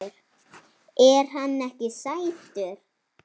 Er hann ekki sætur?